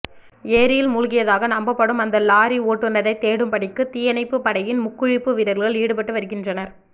ஏரியில் மூழ்கியதாக நம்பப்படும் அந்த லோரி ஓட்டுனரை தேடும் பணிக்கு தீயணைப்பு படையின் முக்குளிப்பு வீரர்கள் ஈடுபட்டு வருகின்றர்